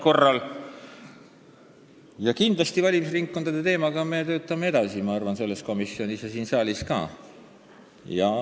Kindlasti me töötame valimisringkondade teemaga edasi, ma arvan, põhiseaduskomisjonis ja ka saalis.